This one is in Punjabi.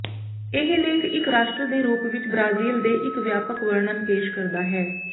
ਇਹ ਲੇਖ ਇੱਕ ਰਾਸ਼ਟਰ ਦੇ ਰੂਪ ਵਿੱਚ ਬ੍ਰਾਜ਼ੀਲ ਦੇ ਇੱਕ ਵਿਆਪਕ ਵਰਣਨ ਪੇਸ਼ ਕਰਦਾ ਹੈ